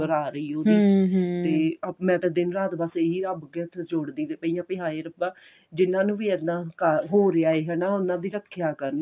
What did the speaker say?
ਖਬਰ ਆ ਰਹੀ ਉਹਦੀ ਤੇ ah ਮੈਂ ਤਾਂ ਦਿਨ ਰਾਤ ਬੱਸ ਰੱਬ ਅੱਗੇ ਹੱਥ ਜੋੜਦੀ ਪਈ ਆਂ ਵੀ ਹਾਏ ਰੱਬਾ ਜਿੰਨਾਂ ਨੂੰ ਵੀ ਹਨਾ ਕਰ ਹੋ ਰਿਹਾ ਹਨਾ ਉਹਨਾ ਦੀ ਰੱਖਿਆ ਕਰਨ